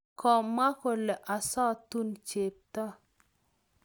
kamwa kole osutun chepto